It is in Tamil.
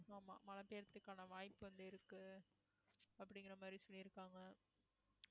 ஆமா மழை பெய்யறதுக்கான வாய்ப்பு வந்து இருக்கு அப்படிங்கற மாதிரி சொல்லியிருக்காங்க